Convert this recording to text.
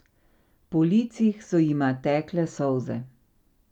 Po licih so jima tekle solze.